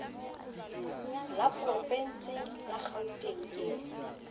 la porovense la kgauteng ke